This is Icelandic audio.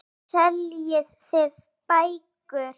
Nú seljið þið bækur.